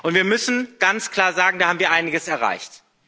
Wir müssen ganz klar sagen Da haben wir einiges erreicht.